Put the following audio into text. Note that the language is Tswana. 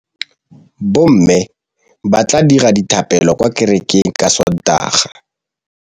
Bommê ba tla dira dithapêlô kwa kerekeng ka Sontaga.